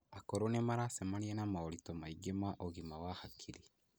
Akũrũ nĩ maracemania na moritũ maingĩ ma ũgima wa hakiri.